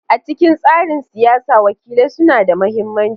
A cikin tsarin siyasa, wakilai suna da mahimmanci.